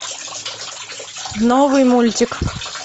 новый мультик